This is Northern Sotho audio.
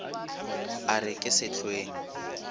e re ke se hlweng